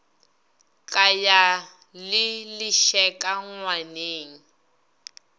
ka ya le lešeka ngwaneng